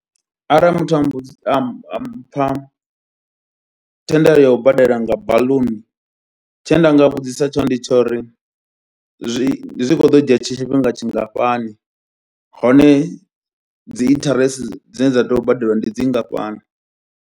Arali muthu a mbudzi am am mpha thendelo ya u badela nga baḽuni, tshe nda nga vhudzisa tshone ndi tsha uri zwi zwi kho ḓo dzhia tshifhinga tshingafhani, hone dzi interest dzine dza tea u badeliwa ndi dzi ngafhani.